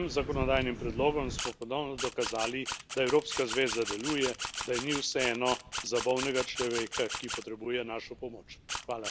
S tem zakonodajnim predlogom smo ponovno dokazali, da Evropska zveza deluje, da ji ni vseeno za bolnega človeka, ki potrebuje našo pomoč.